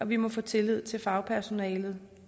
vi må få tilliden til fagpersonalet